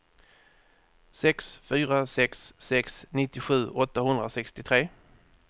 sex fyra sex sex nittiosju åttahundrasextiotre